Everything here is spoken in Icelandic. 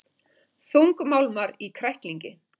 Þungmálmar í kræklingi